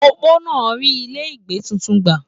Opó náà rí ilé ìgbé títún gbà.